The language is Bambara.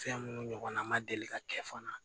Fɛn minnu ɲɔgɔnna ma deli ka kɛ fana